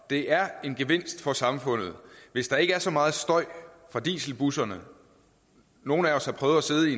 det er en gevinst for samfundet hvis der ikke er så meget støj fra dieselbusserne nogle af os har prøvet at sidde i